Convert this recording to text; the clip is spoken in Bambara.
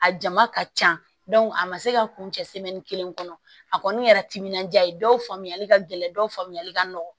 A jama ka ca a ma se ka kun cɛ kelen kɔnɔ a kɔni kɛra timinandiya ye dɔw faamuyali ka gɛlɛn dɔw faamuyali ka nɔgɔ